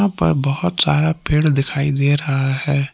ऊपर बहुत सारा पेड़ दिखाई दे रहा है।